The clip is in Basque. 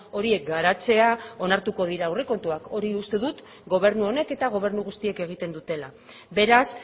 horiek garatzea onartuko dira aurrekontuak hori uste du gobernu honek eta gobernu guztiek egiten dutela beraz